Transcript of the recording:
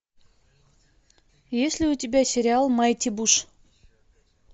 есть ли у тебя сериал майти буш